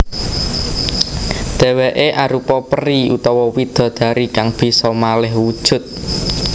Dhèwèké arupa peri utawa widodari kang bisa malih wujud